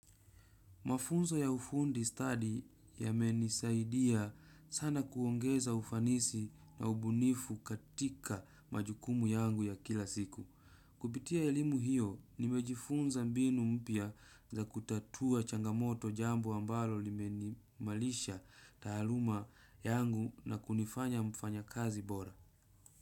Mafunzo ya ufundi study yamenisaidia sana kuongeza ufanisi na ubunifu katika majukumu yangu ya kila siku. Kupitia elimu hiyo, nimejifunza mbinu mpya za kutatua changamoto jambo ambalo lime imalisha taaluma yangu na kunifanya mfanya kazi bora.